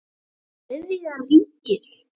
Voru þeir Þriðja ríkið?